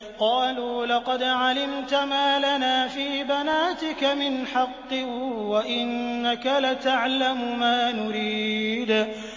قَالُوا لَقَدْ عَلِمْتَ مَا لَنَا فِي بَنَاتِكَ مِنْ حَقٍّ وَإِنَّكَ لَتَعْلَمُ مَا نُرِيدُ